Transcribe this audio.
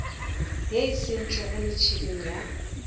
ye e tsentšwego metšheneng ya